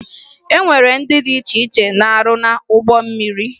E nwere ndị dị iche iche na-arụ n'ụgbọ mmiri